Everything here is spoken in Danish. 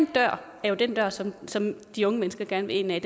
dør er jo den dør som som de unge mennesker gerne vil ind ad